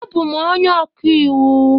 Abụ m onye ọka iwu